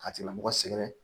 A tigila mɔgɔ sɛgɛrɛ